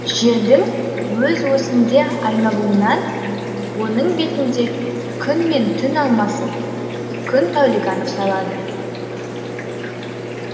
жердің өз осінде айналуынан оның бетінде күн мен түн алмасып күн тәулігі анықталады